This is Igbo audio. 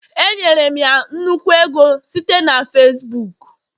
Enyere m ya nnukwu ego site na Facibuku